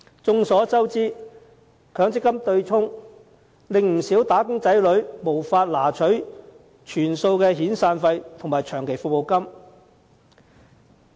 眾所周知，在強積金對沖機制下，不少"打工仔女"無法提取全數遣散費及長期服務金。